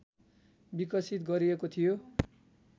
विकसित गरिएको थियो